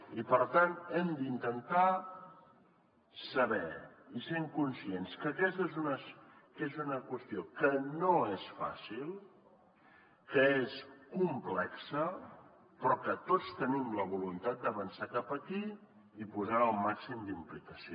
i per tant hem d’intentar saber i ser conscients que aquesta és una qüestió que no és fàcil que és complexa però que tots tenim la voluntat d’avançar cap aquí i posar hi el màxim d’implicació